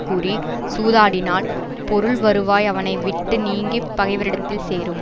கூறி சூதாடினால் பொருள் வருவாய் அவனை விட்டு நீங்கி பகைவரிடத்தில் சேரும்